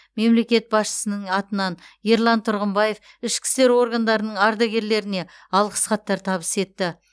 мемлекет басшысының атынан ерлан тұрғымбаев ішкі істер органдарының ардагерлеріне алғыс хаттар табыс етті